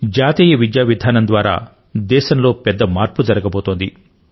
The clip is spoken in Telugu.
జాతీయ విద్యా విధానం ద్వారా దేశం లో పెద్ద మార్పు జరుగబోతోంది